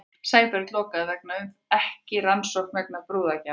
Ekki rannsókn vegna brúðargjafa